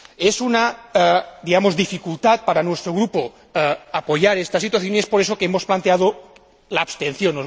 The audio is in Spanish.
Es una dificultad para nuestro Grupo apoyar esta situación y es por eso que hemos planteado la abstención.